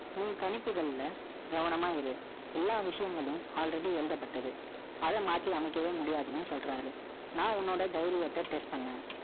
உன் கணிப்புகள்ல, கவனமா இரு. எல்லா விஷயங்களும், already எழுதப்பட்டது. அதை மாத்தி அமைக்கவே முடியாதுன்னும், சொல்றாரு நான் உன்னோட தைரியத்தை test பண்ணேன்.